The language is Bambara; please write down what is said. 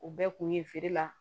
U bɛɛ kun ye feere la